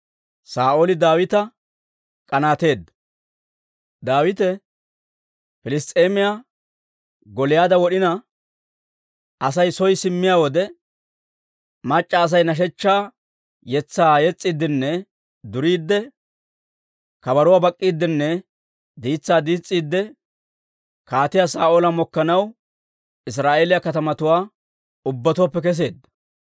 Daawite Piliss's'eemiyaa Gooliyaada wod'ina Asay soo simmiyaa wode, mac'c'a Asay nashechchaa yetsaa yes's'iiddinne duriidde, kabaruwaa bak'k'iiddenne diitsaa diis's'iidde, Kaatiyaa Saa'oola mokkanaw Israa'eeliyaa katamatuwaa ubbatuwaappe kesseedda.